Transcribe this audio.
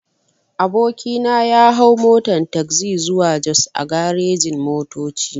Aboki na ya hau motan tagzi zuwa jos a garejin-motoci.